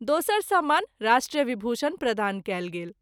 दोसर सम्मान राष्ट्र विभूषण प्रदान कएल गेल।